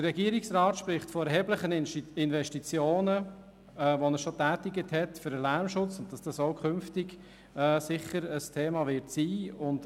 Der Regierungsrat spricht von erheblichen Investitionen in den Lärmschutz, welche auch bei Annahme des Vorstosses künftig ein Thema wären.